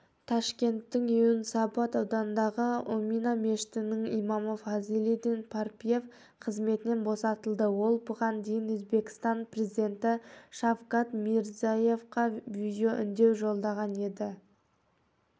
ташкенттің юнусабад ауданындағы омина мешітінің имамы фазлиддин парпиев қызметінен босатылды ол бұған дейін өзбекстан президенті шавкат мирзияевқа видеоүндеу жолдаған еді